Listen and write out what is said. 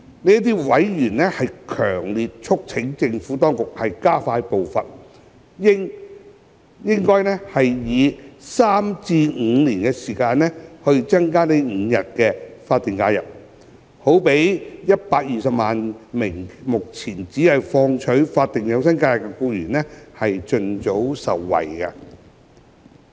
這些委員強烈促請政府當局加快步伐，以3年至5年時間增加5日法定假日，讓約120萬名目前只放取法定假日的僱員盡早受惠。